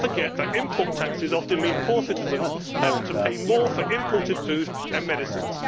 Let us not forget that import taxes often mean poor citizens having to pay more for imported food and medicines.